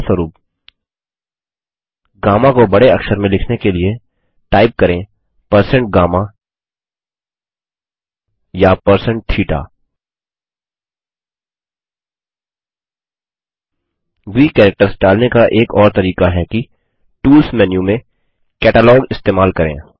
उदाहरणस्वरुप गम्मा को बड़े अक्षर में लिखने के लिए टाइप करें160GAMMA या160THETA ग्रीक कैरेक्टर्स डालने का एक और तरीका है कि टूल्स मेनू से कैटालॉग इस्तेमाल करें